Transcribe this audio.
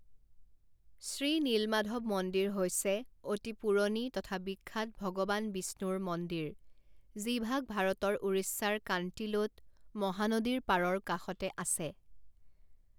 শ্ৰী নীলমাধব মন্দিৰ হৈছে অতি পুৰণি তথা বিখ্যাত ভগৱান বিষ্ণুৰ মন্দিৰ যিভাগ ভাৰতৰ উৰিষ্যাৰ কাণ্টিলোত মহানদীৰ পাৰৰ কাষতে আছে।